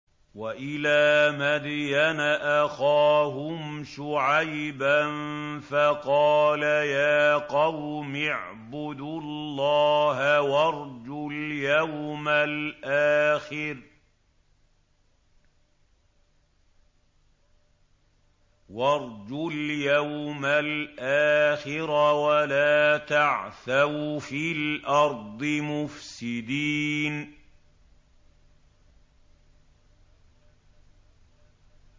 وَإِلَىٰ مَدْيَنَ أَخَاهُمْ شُعَيْبًا فَقَالَ يَا قَوْمِ اعْبُدُوا اللَّهَ وَارْجُوا الْيَوْمَ الْآخِرَ وَلَا تَعْثَوْا فِي الْأَرْضِ مُفْسِدِينَ